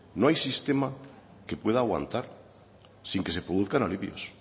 no hay sistema que pueda aguantar sin que se produzcan alivios